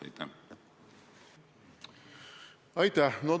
Aitäh!